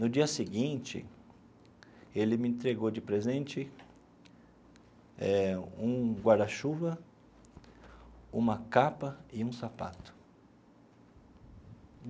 No dia seguinte, ele me entregou de presente eh um guarda-chuva, uma capa e um sapato.